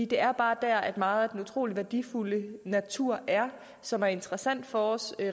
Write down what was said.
det er bare der at meget af den utrolige værdifulde natur som er interessant for os